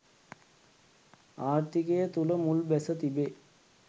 ආර්ථිකය තුළ මුල් බැස තිබේ.